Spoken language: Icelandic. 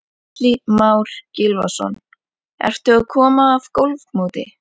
Atli Már Gylfason: Ertu að koma af golfmóti?